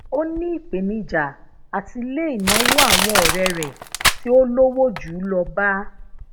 o ni ipenija ati le ìnáwó awon ore re ti olowo ju u lo ba